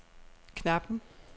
Knappen